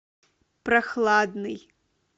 прохладный